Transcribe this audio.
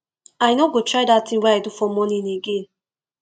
i no go try dat thing wey i do for morning again